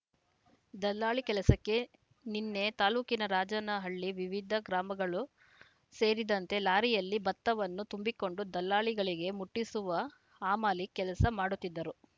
ದಲ್ಲಾಳಿ ಕೆಲಸಕ್ಕೆ ನಿನ್ನೆ ತಾಲೂಕಿನ ರಾಜನಹಳ್ಳಿ ವಿವಿಧ ಗ್ರಾಮಗಳು ಸೇರಿದಂತೆ ಲಾರಿಯಲ್ಲಿ ಭತ್ತವನ್ನು ತುಂಬಿಕೊಂಡು ದಲ್ಲಾಳಿಗಳಿಗೆ ಮುಟ್ಟಿಸುವ ಹಮಾಲಿ ಕೆಲಸ ಮಾಡುತ್ತಿದ್ದರು